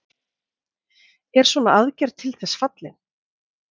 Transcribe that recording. Er svona aðgerð til þess fallin?